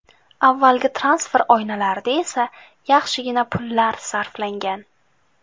Avvalgi transfer oynalarida esa yaxshigina pullar sarflangan.